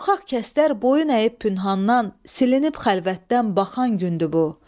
Qorxaq kəslər boyun əyib pünhandan, silinib xəlvətdən baxan gündür bu.